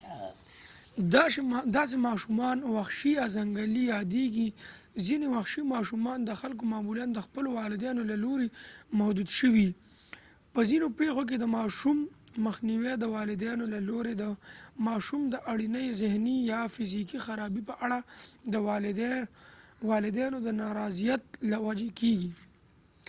داسې ماشومانو وحشي یا ځنګلي یادېږي. ځینې وحشي ماشومان د خلکو معمولاً د خپلو والدینو له لورې محدود شوي؛ په ځینو پیښو کې د ماشوم مخنیوی د والدینو له لورې د ماشوم د اړینې ذهني یا فزیکي خرابۍ په اړه د والدینو د نارضایت له وجې کیږي